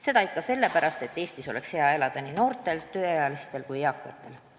Seda ikka sellepärast, et Eestis oleks hea elada nii noortel, tööealistel kui ka eakatel.